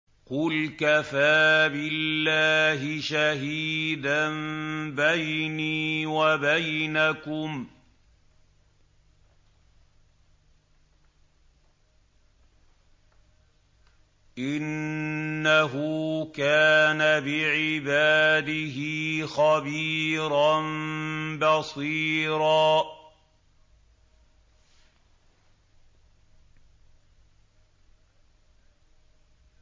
قُلْ كَفَىٰ بِاللَّهِ شَهِيدًا بَيْنِي وَبَيْنَكُمْ ۚ إِنَّهُ كَانَ بِعِبَادِهِ خَبِيرًا بَصِيرًا